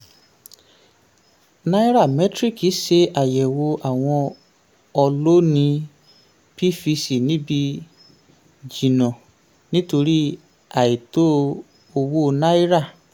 um nairametrics ṣe àyẹ̀wò àwọn ọlóńìí pvc níbi jìnnà um nítorí àìtó owó um náírà.